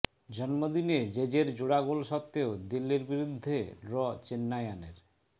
জন্মদিনে জেজের জোড়া গোল সত্ত্বেও দিল্লির বিরুদ্ধে ড্র চেন্নাইয়ানের